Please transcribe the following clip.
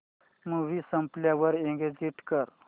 movie संपल्यावर exit कर